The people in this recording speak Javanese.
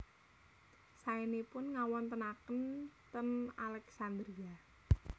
Saenipun ngawontenaken ten Alexandria